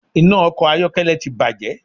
Iná ọkọ̀ ayọ́kẹ́lẹ́ ti bàjé